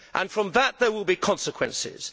From that, there will be consequences.